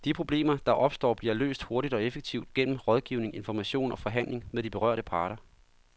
De problemer, der opstår, bliver løst hurtigt og effektivt gennem rådgivning, information og forhandling med de berørte parter.